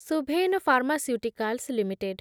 Suven pharmaceuticals limited